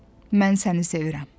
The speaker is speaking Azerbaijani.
Mən səni sevirəm.